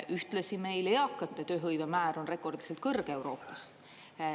Ühtlasi meil eakate tööhõive määr on rekordiliselt kõrge Euroopas.